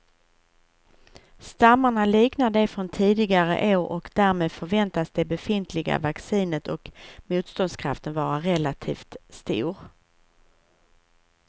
Stammarna liknar de från tidigare år och därmed förväntas det befintliga vaccinet och motståndskraften vara relativt stor.